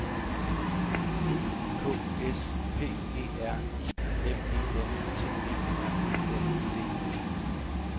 E K S P E R I M E N T E R E N D E